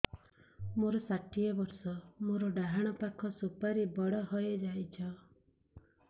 ମୋର ଷାଠିଏ ବର୍ଷ ମୋର ଡାହାଣ ପାଖ ସୁପାରୀ ବଡ ହୈ ଯାଇଛ